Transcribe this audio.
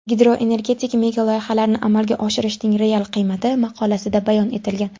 Gidroenergetik megaloyihalarni amalga oshirishning real qiymati” maqolasida bayon etilgan.